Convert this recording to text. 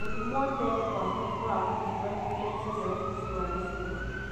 Gũthimwo tene kwa mũrimũ wa mũkingo nĩ guteithagia ũrigiti wa naihenya.